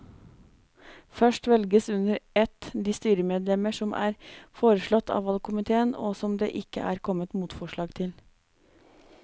Først velges under ett de styremedlemmer som er foreslått av valgkomiteen og som det ikke er kommet motforslag til.